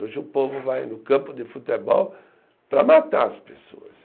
Hoje o povo vai no campo de futebol para matar as pessoas.